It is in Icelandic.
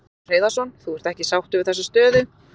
Magnús Hlynur Hreiðarsson: Þú ert ekki sáttur við þessa stöðu?